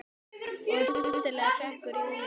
Og þá skyndilega hrekkur Júlía í gír.